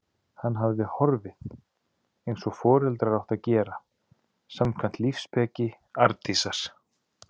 Hann hafði horfið- eins og foreldrar áttu að gera, samkvæmt lífsspeki Arndísar.